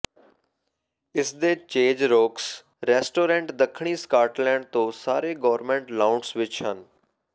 ਇਸ ਦੇ Chez Roux restaurant ਦੱਖਣੀ ਸਕਾਟਲੈਂਡ ਤੋਂ ਸਾਰੇ ਗੌਰਮੈਟ ਲਾਊਂਟਸ ਵਿਚ ਹਨ